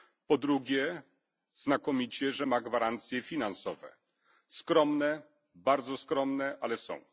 Po drugie, znakomicie, że ma gwarancje finansowe skromne, bardzo skromne, ale są.